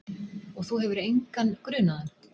Og þú hefur engan grunaðan?